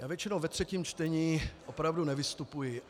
Já většinou ve třetím čtení opravdu nevystupuji.